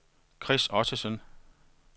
Chris Ottesen